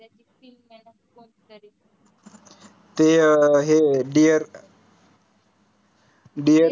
ते अह हे dear काय dear